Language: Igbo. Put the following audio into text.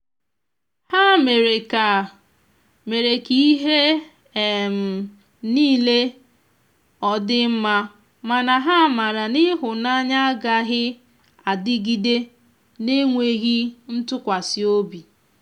ha mere ka mere ka ihe um nile ọdi mmamana ha mara na ihunanya agaghi adịgide n'enweghi ntụkwasi ọbị.